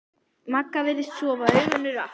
Magga virðist sofa, augun eru aftur.